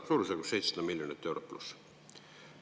Suurusjärgus 700 miljonit eurot pluss.